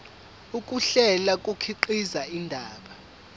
ukuhlela kukhiqiza indaba